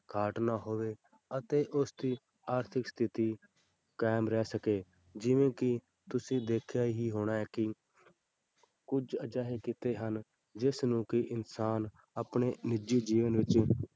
ਘਾਟ ਨਾ ਹੋਵੇ ਅਤੇ ਉਸਦੀ ਆਰਥਿਕ ਸਥਿੱਤੀ ਕਾਇਮ ਰਹਿ ਸਕੇ, ਜਿਵੇਂ ਕਿ ਤੁਸੀਂ ਦੇਖਿਆ ਹੀ ਹੋਣਾ ਹੈ ਕਿ ਕੁੱਝ ਅਜਿਹੇ ਕਿੱਤੇ ਹਨ ਜਿਸ ਨੂੰ ਕਿ ਇਨਸਾਨ ਆਪਣੇ ਨਿੱਜੀ ਜੀਵਨ ਵਿੱਚ,